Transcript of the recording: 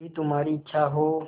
यदि तुम्हारी इच्छा हो